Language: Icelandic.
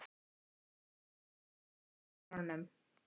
Raggi, lækkaðu í hátalaranum.